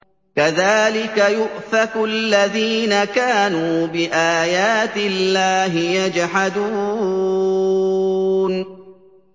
كَذَٰلِكَ يُؤْفَكُ الَّذِينَ كَانُوا بِآيَاتِ اللَّهِ يَجْحَدُونَ